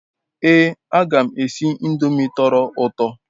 Ee aga m esi ndomi toro uto